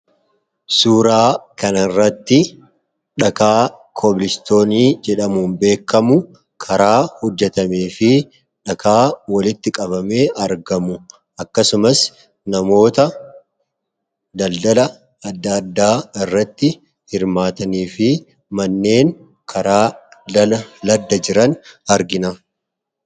Suuraa kana irratti dhakaa koobilistoonii jedhamun beekamu karaa hojjetamee fi dhakaa walitti qabamee argamu akkasumas namoota daldala adda addaa irratti hirmaatanii fi manneen karaa ladda jiran argina.